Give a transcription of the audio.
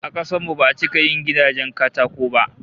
A kasar mu ba'a cika yin gidajen katako ba